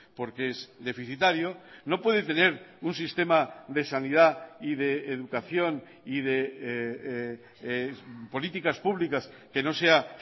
porque es deficitario no puede tener un sistema de sanidad y de educación y de políticas públicas que no sea